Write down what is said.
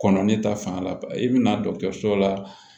Kɔnɔ ne ta fan la ban i bɛna dɔkitɛriso la